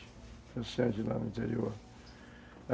Comerciante lá no interior.